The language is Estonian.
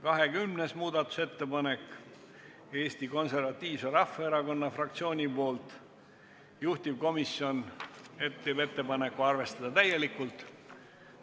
20. muudatusettepaneku on esitanud Eesti Konservatiivse Rahvaerakonna fraktsioon, juhtivkomisjoni ettepanek on arvestada seda täielikult.